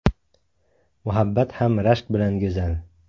Muhabbat ham rashk bilan go‘zal.